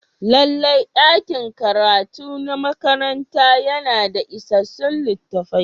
Lallai ɗakin karatu na makaranta yana da isassun littattafai.